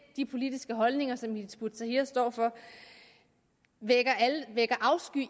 de politiske holdninger som hizb ut tahrir står for vækker afsky